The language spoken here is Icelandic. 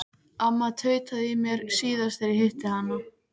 Amma tautaði í mér síðast þegar ég hitti hana.